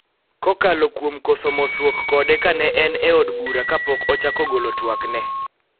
Kokalo kuom koso mosruok kode ka ne en e od bura ka pok ochako golo twakne.